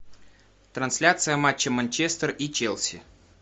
трансляция матча манчестер и челси